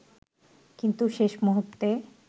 কিন্তু শেষ মুহুর্তে